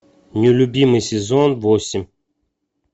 нелюбимый сезон восемь